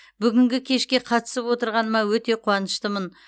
бүгінгі кешке қатысып отырғаныма өте қуаныштымын